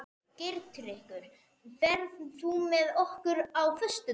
Geirtryggur, ferð þú með okkur á föstudaginn?